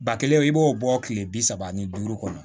Ba kelen o b'o bɔ kile bi saba ni duuru kɔnɔ